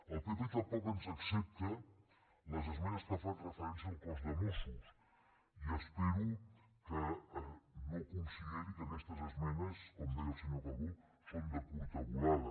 el pp tampoc ens accepta les esmenes que fan referència al cos de mossos i espero que no consideri que aquestes esmenes com deia el senyor calbó són de curta volada